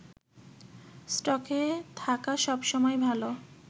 স্টকে থাকা সব সময়ই ভালো